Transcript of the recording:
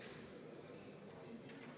V a h e a e g